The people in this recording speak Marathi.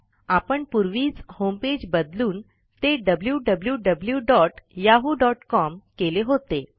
आपण पूर्वीच होमपेज बदलून ते wwwyahoocom केले होते